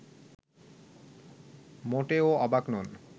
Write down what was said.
মোটেও অবাক নন